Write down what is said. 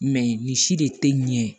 nin si de tɛ ɲɛ ye